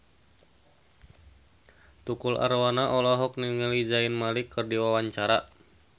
Tukul Arwana olohok ningali Zayn Malik keur diwawancara